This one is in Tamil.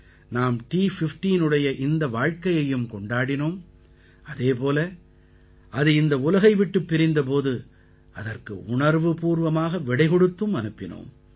நாம் T15டைய இந்த வாழ்க்கையையும் கொண்டாடினோம் அதே போல அது இந்த உலகை விட்டுப் பிரிந்த போது அதற்கு உணர்வுப்பூர்வமாக விடைகொடுத்தும் அனுப்பினோம்